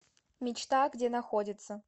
мечта где находится